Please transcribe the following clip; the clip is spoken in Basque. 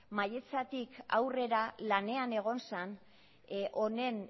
mailatzetik aurrera lanean egon zen honen